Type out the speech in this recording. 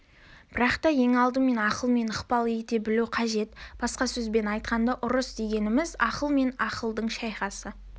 бірақ та ең алдымен ақылмен ықпал ете білу қажет басқа сөзбен айтқанда ұрыс дегеніміз ақыл мен ақылдың шайқасы